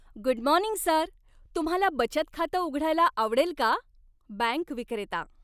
Good morning sir! तुम्हाला बचत खातं उघडायला आवडेल का? बँक विक्रेता